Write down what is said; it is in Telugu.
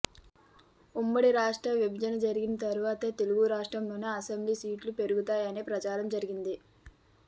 ఉమ్మడి రాష్ట్రం విభజన జరిగిన తరువాత తెలుగు రాష్ట్రాల్లో అసెంబ్లీ సీట్లు పెరుగుతాయనే ప్రచారం జరిగింది